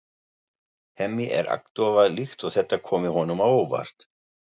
Hemmi er agndofa líkt og þetta komi honum á óvart.